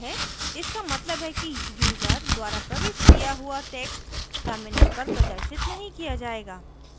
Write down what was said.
इसका मतलब है कि यूज़र द्वारा प्रविष्ट किया हुआ text terminal पर प्रदर्शित नहीं किया जायेगा